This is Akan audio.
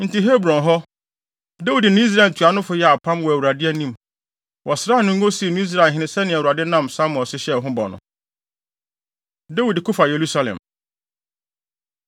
Enti Hebron hɔ, Dawid ne Israel ntuanofo yɛɛ apam wɔ Awurade anim. Wɔsraa no ngo, sii no Israelhene sɛnea Awurade nam Samuel so hyɛɛ ho bɔ no. Dawid Ko Fa Yerusalem